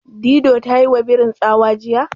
Dido ta yiwa birin tsawa jiya.